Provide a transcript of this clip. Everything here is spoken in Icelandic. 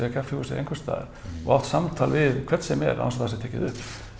kaffihúsi eða einhversstaðar og átt samtal við hvern sem er án þess að það sé tekið upp